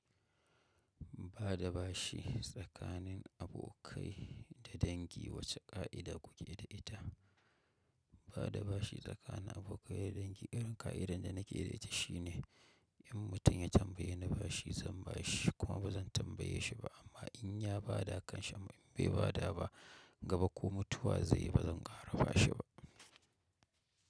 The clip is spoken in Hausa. Ba da bashi tsakanin abokai da dangi wace ƙa'ida kuke da ita? Ba da bashi tsakanin abokai da dangi irin ƙa'idar da nake da ita shine in mutum ya tambaye ni bashi zan ba shi kuma ba zan tambaye shi ba amma in ya ba da kanshi, in bai bada ba gaba ko mutuwa zai yi ba zan ƙara ba shi ba.